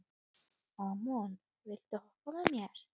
Amon, viltu hoppa með mér?